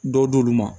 Dɔw d'olu ma